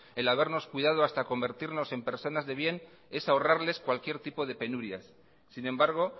el habernos cuidado hasta convertirnos en personas de bien es ahorrarles cualquier tipo de penurias sin embargo